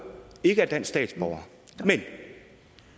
ikke er dansk statsborger men